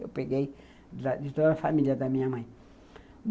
Eu peguei de toda a família da minha mãe.